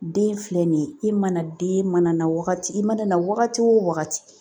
Den filɛ nin ye i mana den mana wagati i mana na wagati o wagati